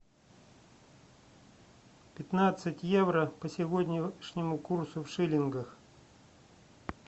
пятнадцать евро по сегодняшнему курсу в шиллингах